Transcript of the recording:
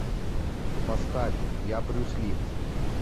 поставь я брюс ли